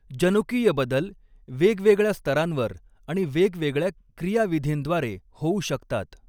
जनुकीय बदल वेगवेगळ्या स्तरांवर आणि वेगवेगळ्या क्रियाविधींद्वारे होऊ शकतात.